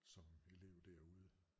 Som elev derude